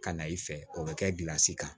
Ka na i fɛ o bɛ kɛ gilansi kan